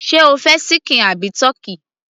sé o fẹ́ ṣíkìn àbí ti